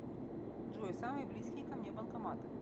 джой самые близкие ко мне банкоматы